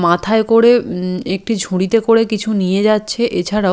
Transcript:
মাথায় করে উম একটি ঝুড়িতে করে কিছু নিয়ে যাচ্ছে এছাড়াও--